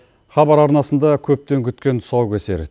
хабар арнасында көптен күткен тұсау кесер